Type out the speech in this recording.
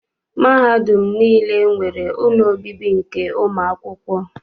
Mahadum niile nwere ụlọ obibi nke ụmụakwụkwọ.